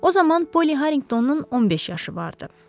O zaman Polli Harriqtonun 15 yaşı vardı.